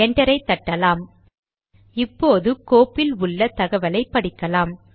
என்டரை தட்டலாம் இப்போது கோப்பில் உள்ள தகவலை படிக்கலாம்